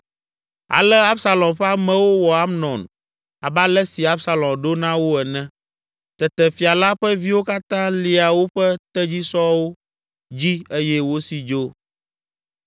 Ale Absalom ƒe amewo wɔ Amnon abe ale si Absalom ɖo na wo ene. Tete fia la ƒe viwo katã lia woƒe tedzisɔwo dzi eye wosi dzo.